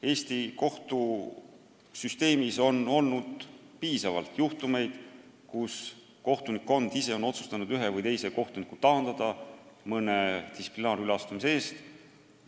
Eesti kohtusüsteemis on olnud piisavalt juhtumeid, kus kohtunikkond ise on otsustanud ühe või teise kohtuniku taandada mõne distsiplinaarüleastumise eest.